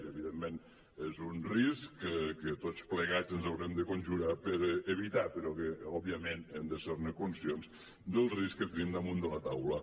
i evidentment és un risc que tots plegats ens haurem de conjurar per evitar però que òbviament hem de ser conscients del risc que tenim damunt de la taula